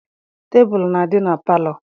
Tebulu na-adị na palọ.